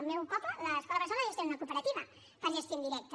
al meu poble l’escola bressol la gestiona una cooperativa per gestió indirecta